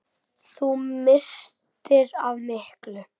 Þú misstir af miklu!